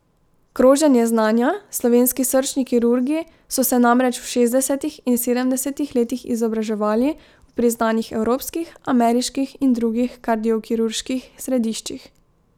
Kroženje znanja, Slovenski srčni kirurgi so se namreč v šestdesetih in sedemdesetih letih izobraževali v priznanih evropskih, ameriških in drugih kardiokirurških središčih.